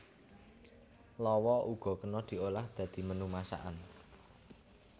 Lawa uga kena diolah dadi menu masakan